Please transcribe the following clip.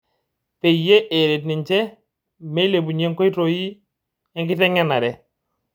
Peyie eret ninche meilepunyie nkoi enkitengenare.